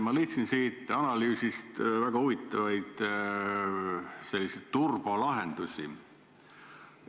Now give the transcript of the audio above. Ma leidsin siit analüüsist selliseid väga huvitavaid turbolahendusi.